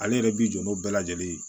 Ale yɛrɛ bi jɔ n'o bɛɛ lajɛlen ye